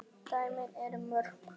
dæmin eru mörg.